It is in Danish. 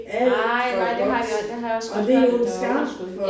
Nej nej det har de også det har jeg også godt hørt at der var underskud